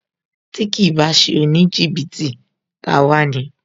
Tí kìí bá ṣe oníjìbìtì, ta a wá ni